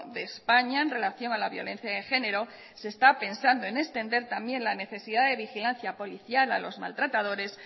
de españa en relación a la violencia de genero se está pensando en extender también la necesidad de vigilancia policial a los maltratadores